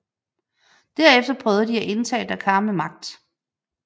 Derefter prøvede de at indtage Dakar med magt